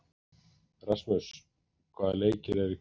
Rasmus, hvaða leikir eru í kvöld?